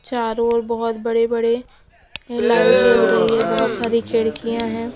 चारों ओर बहोत बड़े बड़े लाइट जल रही है बहोत सारी खिड़कियां है।